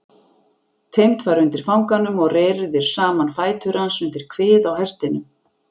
Teymt var undir fanganum og reyrðir saman fætur hans undir kvið á hestinum.